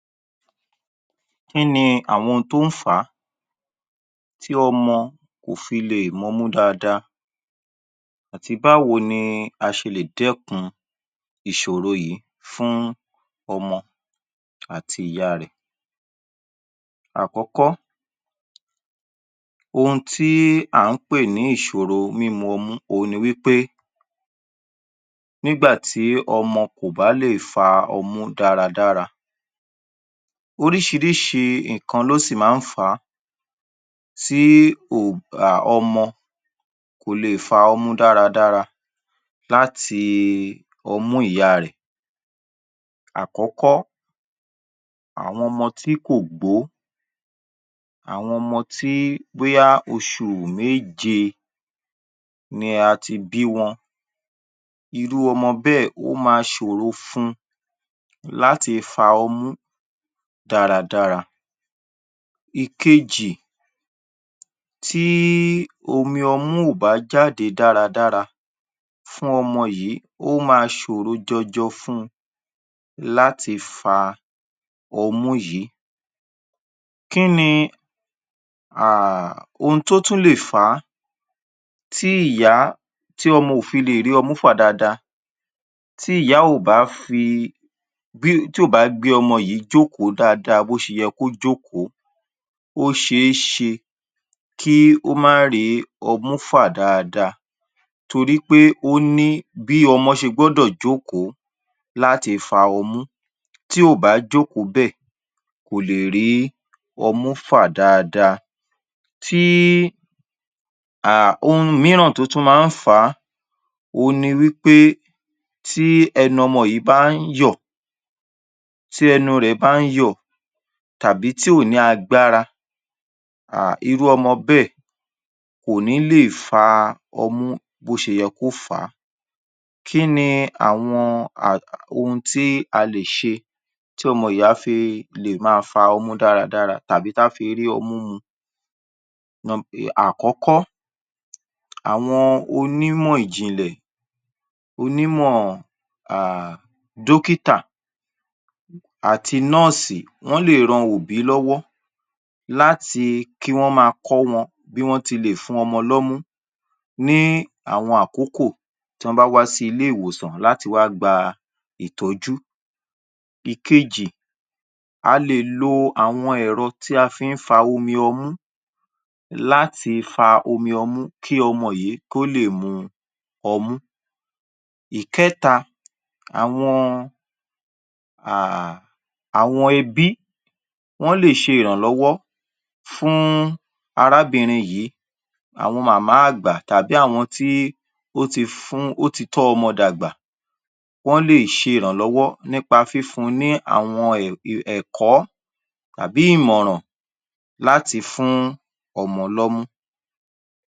Kí ni àwọn ohun tí ó ń fà á rí ọmọ kò fí lè è mú ọmú dáadáa àtí báwo ni aṣélè dẹ́kún iṣòrò yìí fún ọmọ àti ìyá á rẹ̀ ẹ̀ àkọ́kọ́ ohin ti à ń pè ní ìṣòro mímu ọmú ohun ní wípé nígbà tí ọmọ kò ò bálè fá ọmú dáradára oríṣíríṣi ǹkan ni ó sì í ma ń fà á tí o ọmọ kò ò le è fa ọmú dáradára láti ọmú ìyá rẹ̀ ẹ̀ àkọ́kọ́ àwọn ọmọ tí kò gbó àwọn ọmọ tí bóyá osù méje ní àti bí wọn irú ọmọ bẹ́ ẹ̀ òma sò ò ro fún láti fa ọmú dáradára ìkejì tí omi ọmú kò bá jáde dáradára fún ọmọ yìí ó ma ṣòro jọjọ fun láti fa ọmú yìí kínni ohun to tún lé è fà á tí ìyá tí ọmọ kọ̀ tún lè è rí ọmú fà daadaa tí ìyá ò bá fi ọmọ yìí tí ò ò bá fí í ọmọ yìí jókò daadaa bó ṣeyẹ kó jòkò ó ṣe ó ṣe kó má rì í ọ̀mú fà à daadaa torí óní bí ọmọ ṣe gbódò jóókòó láti fa ọmú tí ò bá jókò bẹ́ ẹ̀ kò lè rí ọmú fà à dáadáa tí ohun ìmìńrà tó tún ma á fà á ohun ní pé tí ẹnú ọmọ yìí bá ń yọ̀ ọ̀ tí ẹnú rẹ̀ ẹ̀ bá ń yọ̀ ọ̀ tàbí tí ò ní agbára à irú ọmọ bẹ́ ẹ̀ kò ní lè fa ọmú bó ti yẹ́ kó ò fá kínni àwọn ohun tí aléṣe tí ọmọ yìí á fi ma a fá ọmú dáradára tàbí tá fi rí ọmú mu u àkọ́kọ́ àwọn onímọ̀ ìjìǹlẹ̀ onímọ̀ à à dọ́kítà àti nóósìí wọ́n lè ran òbí lọ́wọ́ làti kí wọ́n ma a kó wọn bí wọ́n ti lè dún ọmọ l’ọ́mú ní àwọn àkókò tí wọ́n bá wá sí ilé ìwòsàn láti wà gba a ìtọ́jú ìkéjì á lè lo o àwọn ẹ̀rọ tí wọ́n fi í fa a omi ọmú láti fa omi ọmú kí ọmọ yìí kó le è mu ọmú ìkẹ́ta àwọn ebí wọn lè ṣe irànlọ́wọ́ fún arábìrín yìí àwọn màmá àgbà tàbí àwọn tí ó ti fún ó ti tọ́ ọ́ ọmọ dàgbà wọ́n lè ṣe ìrànlọ́wọ́ nípa fífun ní àwọn ẹ̀kọ́ tàbí ìmọ̀ràn láti fún ọmọ ‘ọ́mú